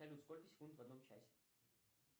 салют сколько секунд в одном часе